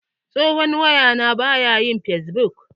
Tsohon waya na baya yin fesbuk.